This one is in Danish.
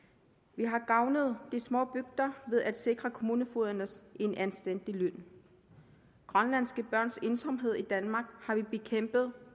vi har gavnet de små bygder ved at sikre kommunenfogederne en anstændig løn grønlandske børns ensomhed i danmark har vi bekæmpet